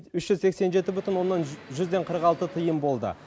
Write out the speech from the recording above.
үш жүз сексен жеті бүтін оннан жүзден қырық алты тиын болды